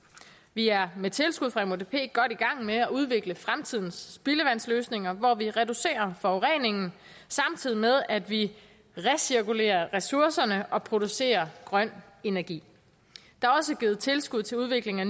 vi er med tilskud fra mudp godt i gang med at udvikle fremtidens spildevandsløsninger hvor vi reducerer forureningen samtidig med at vi recirkulerer ressourcerne og producerer grøn energi der er også givet tilskud til udvikling af